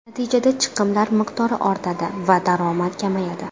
Natijada, chiqimlar miqdori ortadi va daromad kamayadi.